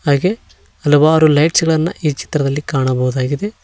ಹಾಗೆ ಹಲವಾರು ಲೈಟ್ಸ್ ಗಳನ್ನ ಈ ಚಿತ್ರದಲ್ಲಿ ಕಾಣಬಹುದಾಗಿದೆ.